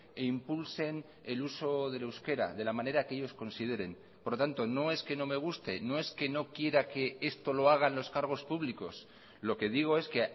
e impulsen el uso del euskera de la manera que ellos consideren por lo tanto no es que no me guste no es que no quiera que esto lo hagan los cargos públicos lo que digo es que